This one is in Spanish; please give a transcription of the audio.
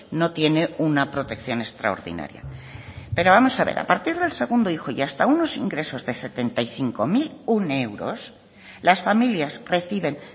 no tiene una protección extraordinaria pero vamos a ver a partir del segundo hijo y hasta unos ingresos de setenta y cinco mil uno euros las familias reciben